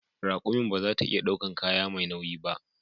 Rakumin ba za ta iya daukan kaya mai nauyi ba